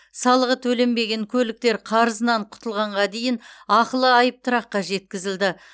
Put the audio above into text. салығы төленбеген көліктер қарызынан құтылғанға дейін ақылы айыптұраққа жеткізілді